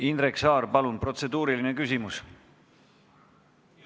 Indrek Saar, palun, protseduuriline küsimus!